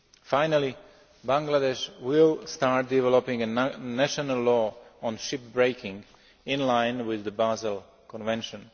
Finally, Bangladesh will start developing a national law on ship breaking in line with the Basel Convention.